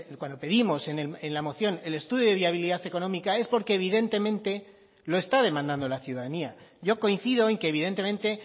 cuando pedimos en la moción el estudio de viabilidad económica es porque evidentemente lo está demandando la ciudadanía yo coincido en que evidentemente